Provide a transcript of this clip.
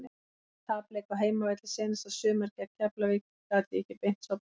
Eftir tapleik á heimavelli seinasta sumar gegn Keflavík gat ég ekki beint sofnað.